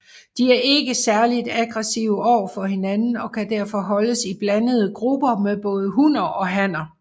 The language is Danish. De er ikke særligt aggressive overfor hinanden og kan derfor holdes i blandede grupper med både hunner og hanner